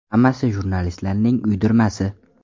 Hammasi jurnalistlarning uydirmasi”.